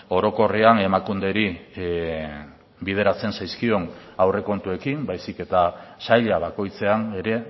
orokorrean emakunderi bideratzen zaizkion aurrekontuekin baizik eta saila bakoitzean ere